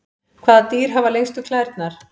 Hvaða dýr hafa lengstu klærnar?